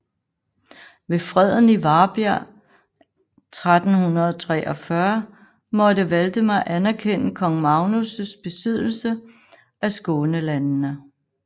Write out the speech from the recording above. Ved freden i Varbjerg 1343 måtte Valdemar anerkende kong Magnus besiddelse af Skånelandene